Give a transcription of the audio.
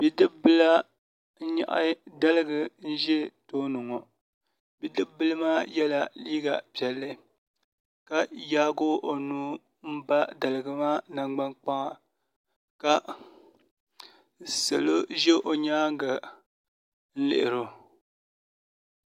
Bidib bili n nyaɣa daligu ʒɛ tooni ŋo bidib bili maa yɛla liiga piɛlli ka yaagi o nuu n ba daligi maa nangbani kpaŋa ka yaagi o nangbani ʒɛya n yuundi o